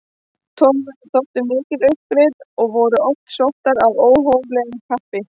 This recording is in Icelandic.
Togveiðar þóttu mikil uppgrip og voru oft sóttar af óhóflegu kappi.